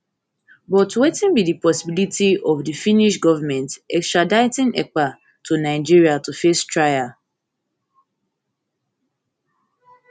but wetin be di possibility of of di finnish goment extraditing ekpa to nigeria to face trial